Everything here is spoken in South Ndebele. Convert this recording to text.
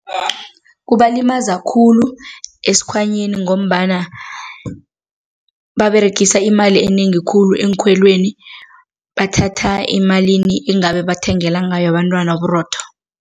Kubalimaza khulu esikhwanyeni ngombana baberegisa imali enengi khulu eenkhweleni, bathatha emalini engabe bathengela ngayo abentwana uburotho.